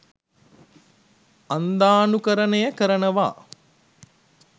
අන්ධානුකරණය කරනවා